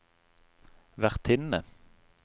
vertinne